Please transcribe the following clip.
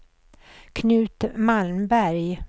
Knut Malmberg